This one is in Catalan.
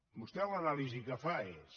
vostè l’anàlisi que fa és